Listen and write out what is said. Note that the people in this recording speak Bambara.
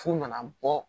F'u nana bɔ